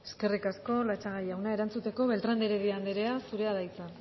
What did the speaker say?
eskerrik asko latxaga jauna erantzute beltrán de heredia andrea zurea da hitza